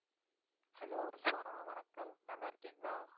hello Rizwana வணக்கம் நல்லா இருக்கீங்களா